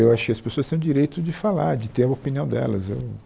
Eu acho que as pessoas têm o direito de falar, de ter a opinião delas eu...